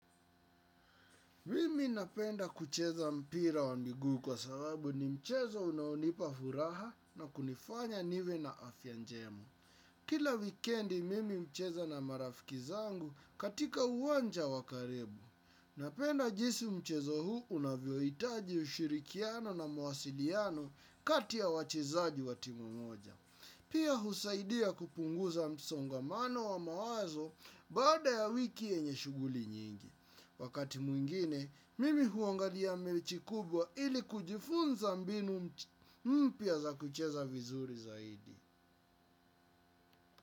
Mimi napenda kucheza mpira wa miguu kwa sababu ni mchezo unaonipa furaha na kunifanya niwe na afya njema. Kila wikendi mimi hucheza na marafiki zangu katika uwanja wa karibu. Napenda jisi mchezo huu unavyohitaji ushirikiano na mawasiliano kati ya wachezaji wa timu moja. Pia husaidia kupunguza msongamano wa mawazo baada ya wiki yenye shuguli nyingi. Wakati mwingine, mimi huangalia mechi kubwa ili kujifunza mbinu mpya za kucheza vizuri zaidi.